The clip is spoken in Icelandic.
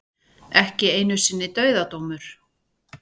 Ekki einu sinni dauðadómur.